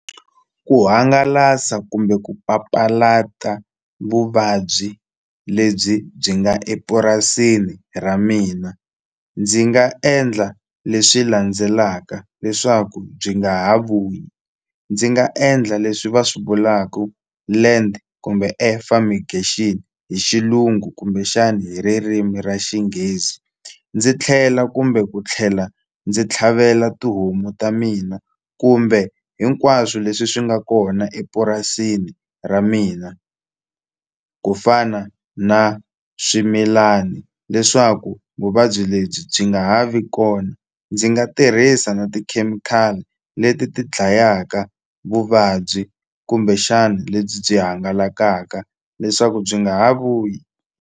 Ku hangalasa kumbe ku papalata vuvabyi lebyi byi nga epurasini ra mina ndzi nga endla leswi landzelaka leswaku byi nga ha vuyi ndzi nga endla leswi va swi vulaku land kumbe air fumigation hi xilungu kumbexana hi ririmi ra xinghezi ndzi tlhela kumbe ku tlhela ndzi tlhavela tihomu ta mina kumbe hinkwaswo leswi swi nga kona epurasini ra mina ku fana na swimilani leswaku vuvabyi lebyi byi nga ha ha vi kona ndzi nga tirhisa na tikhemikhali leti ti dlayaka vuvabyi kumbexana lebyi byi hangalakaka leswaku byi nga ha vuyi.